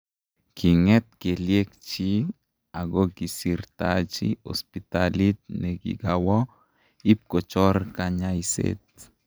King'et kelyekchiik akokisirtaji hospitalit nekigaawo ipkochor kanyaiset